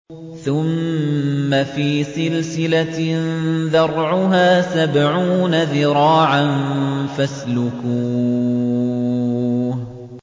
ثُمَّ فِي سِلْسِلَةٍ ذَرْعُهَا سَبْعُونَ ذِرَاعًا فَاسْلُكُوهُ